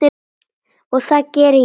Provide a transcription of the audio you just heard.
Og það geri ég.